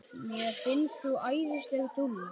Mér finnst þú æðisleg dúlla!